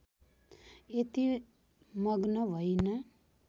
यति मग्न भइन